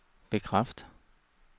bekræft